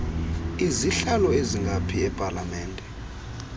izihlalo ezingaphi epalamente